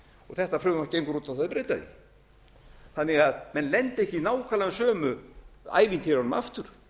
þetta frumvarp gengur út að breyta því þannig að menn lendi ekki í nákvæmlega sömu ævintýrunum aftur